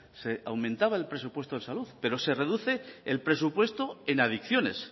se aumentaba el presupuesto en salud pero se reduce el presupuesto en adicciones